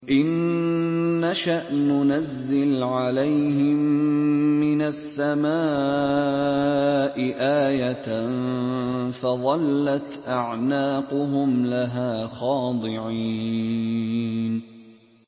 إِن نَّشَأْ نُنَزِّلْ عَلَيْهِم مِّنَ السَّمَاءِ آيَةً فَظَلَّتْ أَعْنَاقُهُمْ لَهَا خَاضِعِينَ